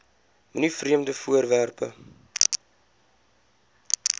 moenie vreemde voorwerpe